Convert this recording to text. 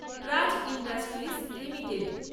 Praj industries limited